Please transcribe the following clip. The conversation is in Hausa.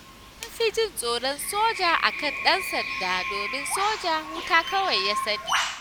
An fi jin tsoron soja a kan ɗan sanda, domin soja wuta kawai ya sani.